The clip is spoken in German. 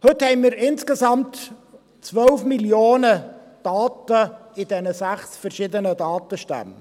Heute haben wir insgesamt 12 Mio. Daten in diesen sechs verschiedenen Datenstämmen.